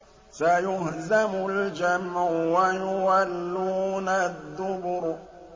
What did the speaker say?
سَيُهْزَمُ الْجَمْعُ وَيُوَلُّونَ الدُّبُرَ